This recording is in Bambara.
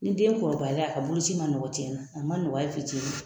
Ni den kɔrɔbayala a ka boloci man nɔgɔn tiɲɛ na o man nɔgɔn hali fitinin